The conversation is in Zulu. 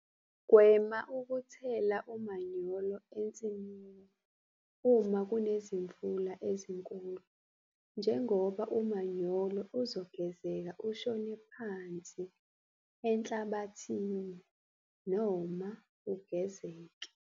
Gwema ukuthela umanyolo ensimini uma kunezimvula ezinkulu njengoba umanyolo uzogezeka ushone phansi enhlabathini noma ugezeke.